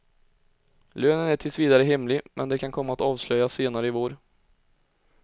Lönen är tills vidare hemlig men kan komma att avslöjas senare i vår.